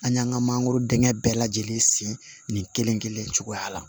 An y'an ka mangoro denŋɛ bɛɛ lajɛlen sen nin kelen-kelen cogoya la